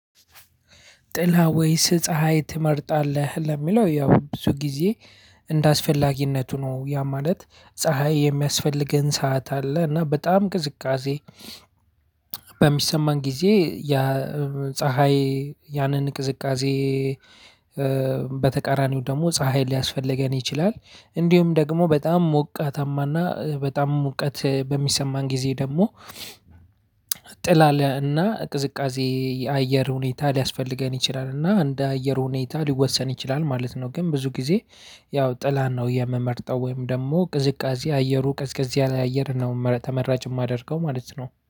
ጥላ ወይስ ፀሀይ ትመርጣለህ? ለሚለው ያው ብዙ ጊዜ እንደ አስፈላጊነቱ ነው ያ ማለት ፀሀይ የሚያስፈልገን ሰዓት አለ እና በጣም ቅዝቃዜ። በሚሰማን ጊዜ ያ ፀሀይ ያንን ቅዝቃዜ። በተቃራኒው ደግሞ ፀሀይ ሊያስፈልገን ይችላል። እንዲሁም ደግሞ በጣም ሞቃታማ እና በጣም ሙቀት በሚሰማን ጊዜ ደግሞ ጥላ እና ቅዝቃዜ የአየር ሁኔታ ሊያስፈልገን ይችላል። እና እንደ አየር ህኒታ ሊወሰን ይችላል ማለት ነው። ግን ብዙ ግዜ ያው ጥላን ነው የምመርጠው ወይም ደግሞ ቅዝቃዜ አይሩ ቀዝቀዝ ያለ አየር ነው ተመራጭ ማደርገው ማለት ነው